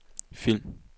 film